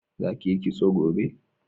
Za ki yi kitso gobe!